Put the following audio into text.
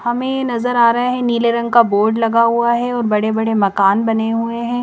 हमें नजर आ रहा है नीले रंग का बोर्ड लगा हुआ है और बड़े बड़े मकान बने हुए हैं।